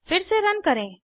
फिर से रन करें